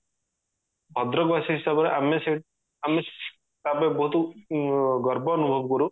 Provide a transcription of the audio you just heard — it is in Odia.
ଭଦ୍ରକ ବାସି ହିସାବରେ ଆମେ ସେ ଆମେ ତା ପାଇଁ ବହୁତ ଉଁ ଗର୍ବ ଅନୁଭବ କରୁ